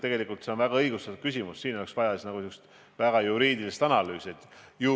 Tegelikult on see väga õigustatud küsimus ja siin oleks vaja juriidilist analüüsi.